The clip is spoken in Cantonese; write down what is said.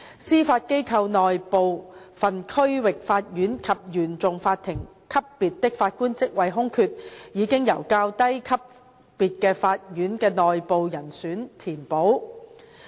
司法機構內部分區域法院及原訟法庭級別的法官職位空缺，已經由較低級別法院的內部人選填補。